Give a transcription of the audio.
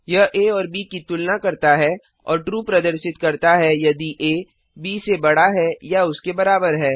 यह आ और ब की तुलना करता है और ट्रू प्रदर्शित करता है यदि आ ब से बड़ा है या उसके बराबर है